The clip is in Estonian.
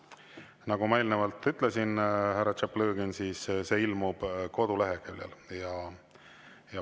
Nagu ma eelnevalt ütlesin, härra Tšaplõgin, see ilmub koduleheküljel.